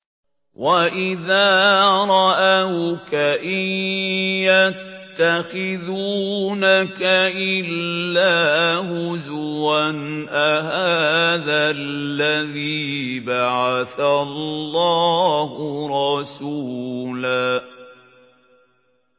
وَإِذَا رَأَوْكَ إِن يَتَّخِذُونَكَ إِلَّا هُزُوًا أَهَٰذَا الَّذِي بَعَثَ اللَّهُ رَسُولًا